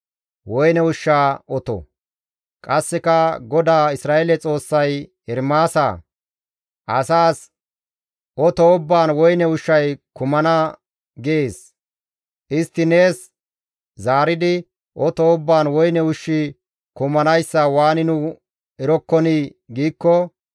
Qasseka GODAA Isra7eele Xoossay, «Ermaasa! Asaas, ‹Oto ubbaan woyne ushshay kumana› gees. Istti nees zaaridi, ‹Oto ubbaan woyne ushshi kumanayssa waani nu erokkonii?› giikko,